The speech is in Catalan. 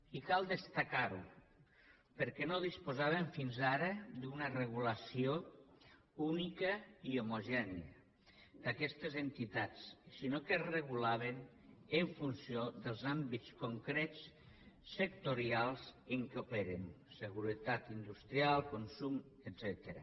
i cal destacar ho perquè no disposàvem fins ara d’una regulació única i homogènia d’aquestes entitats sinó que es regulaven en funció dels àmbits concrets sectorials en què operen seguretat industrial consum etcètera